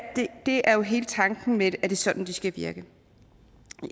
det er jo hele tanken med det at det er sådan det skal virke